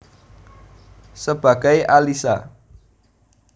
Sebagai Alisha